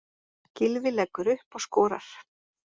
Gylfi leggur upp og skorar.